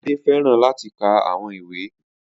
Ade fẹràn lati ka awọn iwe